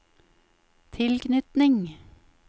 tilknytning